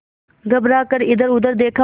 घबरा कर इधरउधर देखा